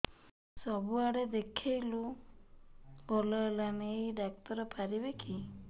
ସବୁଆଡେ ଦେଖେଇଲୁ ଭଲ ହେଲାନି ଏଇ ଡ଼ାକ୍ତର ପାରିବେ କି